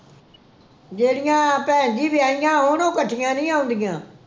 ਜਿਹੜੀਆਂ ਭੈਣ ਜੀ ਵਿਆਹੀਆਂ ਇਕੱਠੀਆਂ ਨੀ ਆਉਂਦੀਆਂ